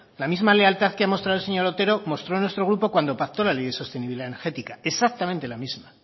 la misma lealtad que ha mostrado el señor otero mostró nuestro grupo cuando pactó la ley de sostenibilidad energética exactamente la misma